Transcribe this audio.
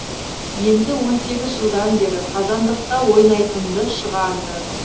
енді он сегіз жылдан бері қазандықта ойнайтынды шығарды